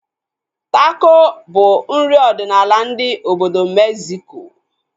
Tako bụ nri ọdịnala ndị obodo Megziko